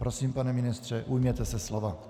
Prosím, pane ministře, ujměte se slova.